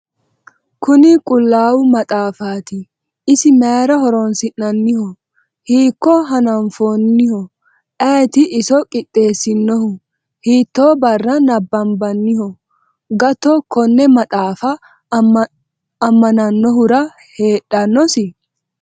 kuni qullaawa maxaafati .isi mayra horoonsi'nanniho hiikko hanafooniho ayeti iso qixeessinnohu ? hiitto barra nabanbanniho gato konne maxaafa ammanannohura heedhannosi?